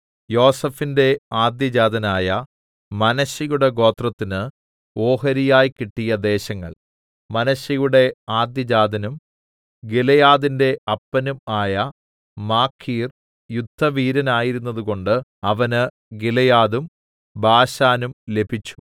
യോസേഫിന്റെ ആദ്യജാതനായ മനശ്ശെയുടെ ഗോത്രത്തിന് ഓഹരിയായി കിട്ടിയ ദേശങ്ങൾ മനശ്ശെയുടെ ആദ്യജാതനും ഗിലെയാദിന്റെ അപ്പനും ആയ മാഖീർ യുദ്ധവീരനായിരുന്നതുകൊണ്ട് അവന് ഗിലെയാദും ബാശാനും ലഭിച്ചു